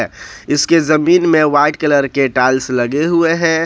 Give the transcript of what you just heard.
इसके जमीन में वाइट कलर के टाइल्स लगे हुए हैं।